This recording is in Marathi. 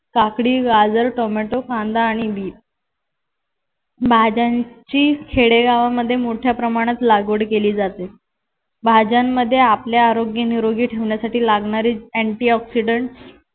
काकडी, गाजर, टोमॅटो, कांदा आणि बिट भाज्यांची खेडेगावांमध्ये मोठ्या प्रमाणात लागवड केली जाते. भाज्यांमध्ये आपल्या आरोग्य निरोगी आरोग्य ठेवण्यासाठी लागणारी antioxidant